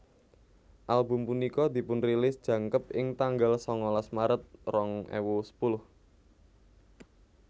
Album punika dipunrilis jangkep ing tanggal sangalas maret rong ewu sepuluh